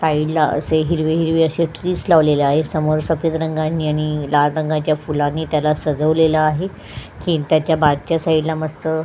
सायडला असे हिरवे हिरवे असे ट्रिस लावलेले आहेत समोर सफेद रंगानी आणि लाल रंगाच्या फूलानी त्याला सजवलेला आहे त्याच्या मागच्या सायडला मस्त --